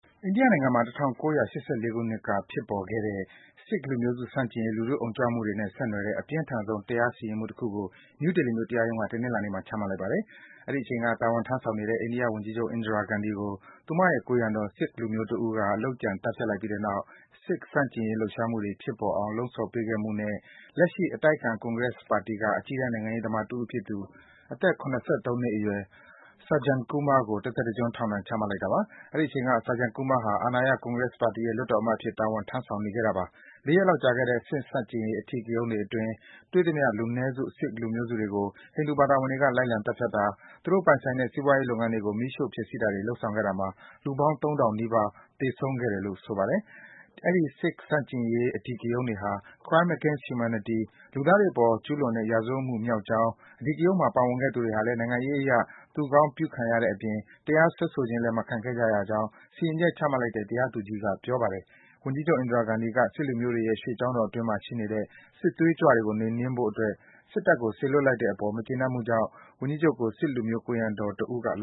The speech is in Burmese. အိန္ဒိယနိုင်ငံမှာ ၁၉၈၄ ခုနှစ်က ဖြစ်ပွားခဲ့တဲ့ Sikh လူမျိုးစု ဆန့်ကျင်ရေး လူထုအုံကြွမှုတွေနဲ့ ဆက်နွယ်တဲ့ အပြင်းထန်ဆုံး တရားစီရင်မှုတခုကို နယူးဒေလီမြို့ တရားရုံးက တနင်္လာနေ့မှာ ချမှတ်လိုက်ပါတယ်။ အဲဒီအချိန်က တာဝန်ထမ်းဆောင်နေတဲ့ အိန္ဒိယဝန်ကြီးချုပ် Indira Gandhi ကို သူ့ရဲ့ ကိုယ်ရံတော် Sikh လူမျိုးတဦးက လုပ်ကြံ သတ်ဖြတ်လိုက်ပြီးတဲ့နောက် Sikh ဆန့်ကျင်ရေး လှုပ်ရှားမှုတွေ ဖြစ်ပေါ်အောင် လှုံ့ဆော်ပေးခဲ့မှုနဲ့ လက်ရှိ အတိုက်အခံ Congress ပါတီက အကြီးတန်း နိုင်ငံရေးသမားတဦးဖြစ်သူ အသက် ၇၃ နှစ်အရွယ် Sajjan Kumar ကို တသက်တကျွန်း ထောင်ဒဏ် ချမှတ်လိုက်တာပါ။ အဲဒီ အချိန်က Sajjan Kumar ဟာ အာဏာရ Congress ပါတီရဲ့ လွှတ်တော်အမတ်အဖြစ် တာဝန်ထမ်းဆောင်နေတာပါ။ ၄ ရက်လောက် ကြာခဲ့တဲ့ အဲဒီ Sikh ဆန့်ကျင်ရေး အဓိကရုန်းအတွင်း တွေ့သမျှ လူနည်းစု Sikh လူမျိုးတွေကို ဟိန္ဓူဘာသာဝင်တွေက လိုက်လံ သတ်ဖြတ်တာ၊ သူတို့ပိုင်တဲ့ စီးပွားရေးလုပ်ငန်းတွေကို မီးရှို့ ဖျက်ဆီးတာတွေ လုပ်ဆောင်ခဲ့တာမှာ Sikh လူမျိုးပေါင်း ၃,၀၀၀ နီးပါး သေဆုံးခဲ့တယ်လို့ ဆိုပါတယ်။ အဲဒီ Sikh ဆန့်ကျင်ရေး အဓိကရုန်းတွေဟာ Crime against humanity - လူသားတွေအပေါ်ကျူးလွန်တဲ့ ရာဇဝတ်မှုမြောက်ကြောင်း၊ အဓိကရုန်းမှာ ပါဝင်ခဲ့သူတွေဟာလည်း နိုင်ငံရေးအရ သူကောင်းပြုခံခဲ့ရတဲ့အပြင် တရားစွဲဆိုခြင်းလည်း မခံခဲ့ကြရကြောင်း စီရင်ချက် ချမှတ်လိုက်တဲ့ တရားသူကြီးက ပြောပါတယ်။ ဝန်ကြီးချုပ် Indira Gandhi က Sikh လူမျိုးတွေရဲ့ ရွှေကျောင်းတော်အတွင်းမှာ ရှိနေတဲ့ စစ်သွေးကြွတွေကို နှိမ်နင်းဖို့အတွက် စစ်တပ်ကို စေလွတ်လိုက်တဲ့ကိစ္စအပေါ် မကျေနပ်မှုကြောင့် ဝန်ကြီးချုပ်ကို Sikh လူမျိုး ကိုယ်ရံတော်တဦးက လ